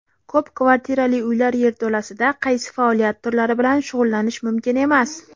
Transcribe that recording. Ko‘p kvartirali uylar yerto‘lasida qaysi faoliyat turlari bilan shug‘ullanish mumkin emas?.